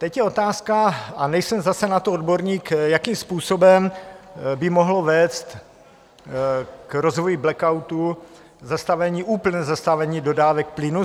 Teď je otázka, a nejsem zase na to odborník, jakým způsobem by mohlo vést k rozvoji blackoutu úplné zastavení dodávek plynu.